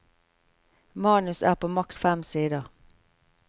Manus er på maks fem sider.